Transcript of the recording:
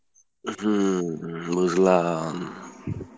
হম বুজলাম